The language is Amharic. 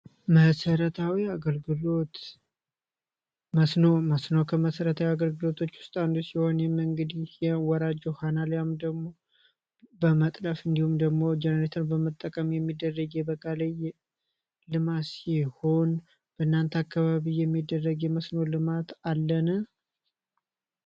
መሠረታዊ አገልግሎት መስኖ ከመሠረታዊ አገልግሎቶች ውስጥ አንዱ ሲሆን ይህም እንግዲህ የወራጅ ውሃና አልያም ደግሞ በመጥለፍ እንዲሁም ደግሞ ጀኔሬተር በመጠቀም የሚደረጌ የበጋ ላይ ልማት ሲሆን በእናንተ አካባቢ የሚደረጊ መስኖ ልማት አለን?